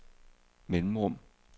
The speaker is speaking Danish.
mellemrum